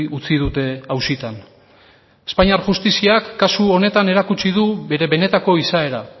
utzi dute auzitan espainiar justiziak kasu honetan erakutsi du bere benetako izaera